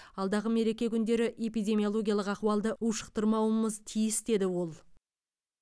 алдағы мереке күндері эпидемиологиялық ахуалдың ушықтырмауымыз тиіс деді ол